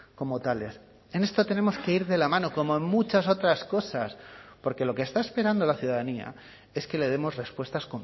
como tales en esto tenemos que ir de la mano como en muchas otras cosas porque lo que está esperando la ciudadanía es que le demos respuestas